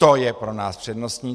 To je pro nás přednostní.